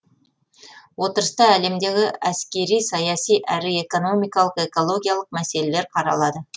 отырыста әлемдегі әскери саяси әрі экономикалық экологиялық мәселелер қаралады